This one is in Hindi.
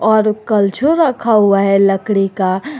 और कल्छुल रखा हुआ है लकड़ी का।